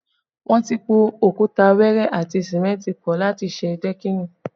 Wọn ti po òkúta wẹẹrẹ àti símẹ́ntì pọ láti ṣe dẹ́kìnì